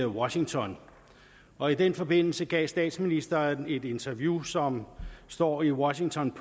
washington og i den forbindelse gav statsministeren et interview som står i washington